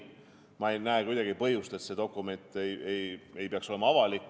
Ma ei näe kuidagi põhjust, et see dokument ei peaks olema avalik.